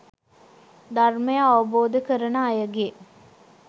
ධර්මය අවබෝධ කරන අයගේ